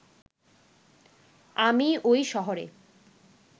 আমি ওই শহরে